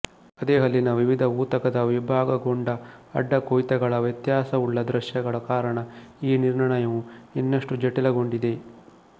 ಅದೇ ಹಲ್ಲಿನ ವಿವಿಧ ಊತಕದ ವಿಭಾಗಗೊಂಡ ಅಡ್ಡಕೊಯ್ತಗಳ ವ್ಯತ್ಯಾಸಯುಳ್ಳ ದೃಶ್ಯಗಳ ಕಾರಣ ಈ ನಿರ್ಣಯವು ಇನ್ನಷ್ಟು ಜಟಿಲಗೊಂಡಿದೆ